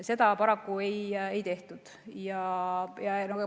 Seda paraku ei tehtud.